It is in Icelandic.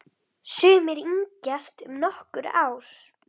Sumir yngjast um nokkur ár.